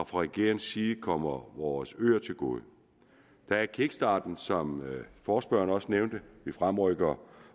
fra regeringens side kommer vores øer til gode der er kickstarten som forespørgeren også nævnte vi fremrykker